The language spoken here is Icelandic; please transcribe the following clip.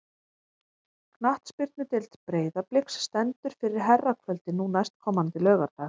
Knattspyrnudeild Breiðabliks stendur fyrir herrakvöldi nú næstkomandi laugardag.